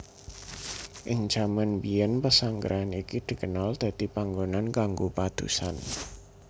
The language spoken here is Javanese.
Ing jaman mbiyèn pesanggrahan iki dikenal dadi panggonan kanggo padusan